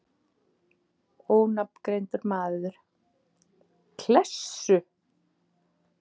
Ónafngreindur maður: Klessu?